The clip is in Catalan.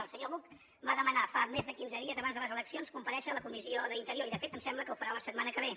el senyor buch va demanar fa més de quinze dies abans de les eleccions comparèixer a la comissió d’interior i de fet em sembla que ho farà la setmana que ve